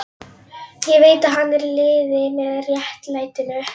Ég veit að hann er í liði með réttlætinu.